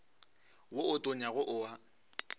wo o tonyago o a